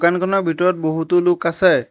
দোকানখনৰ ভিতৰত বহুতো লোক আছে।